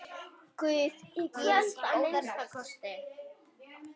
Guð gefi þér góða nótt.